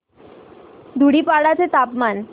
धुडीपाडा चे तापमान